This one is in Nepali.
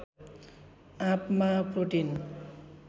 आँपमा प्रोटिन